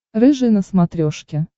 рыжий на смотрешке